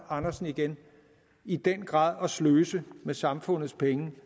andersen igen i den grad at sløse med samfundets penge